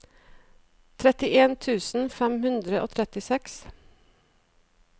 trettien tusen fem hundre og trettiseks